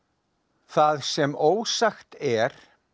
það sem ósagt er